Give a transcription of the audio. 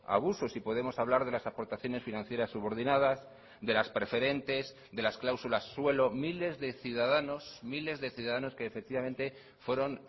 abusos y podemos hablar de las aportaciones financieras subordinadas de las preferentes de las cláusulas suelo miles de ciudadanos miles de ciudadanos que efectivamente fueron